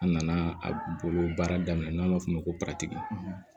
An nana bolo baara daminɛ n'an b'a f'o ma ko paratigi